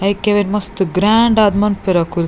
ಐಕೆ ಅವೆನ್ ಮಸ್ತ್ ಗ್ರ್ಯಾಂಡ್ ಆದ್ ಮನ್ಪುವೆರ್ ಅಕುಲು.